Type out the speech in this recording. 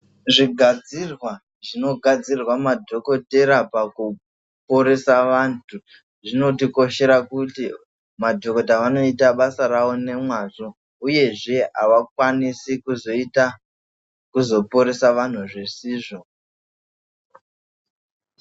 Zvigadzirwa zvinogadzirirwa madhokotera pakuporesa vantu zvinotikoshera kuti madhokota vanoita basa ravo nemwazvo uyezve avakwanisi kuzoita kuzoporesa vanhu zvisizvo.